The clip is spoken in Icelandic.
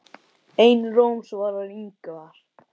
Einróma lof svarar Ingvar.